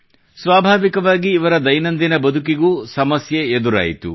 ಸ್ವಾಭಾವಿಕವಾಗಿ ಇವರ ದೈನಂದಿನ ಬದುಕಿಗೂ ಸಮಸ್ಯೆ ಎದುರಾಯಿತು